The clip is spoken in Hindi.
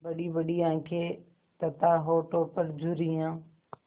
बड़ीबड़ी आँखें तथा होठों पर झुर्रियाँ